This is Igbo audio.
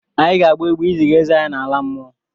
Anyị ga-agba egbe iziga eze anyị n'ala mmụọ.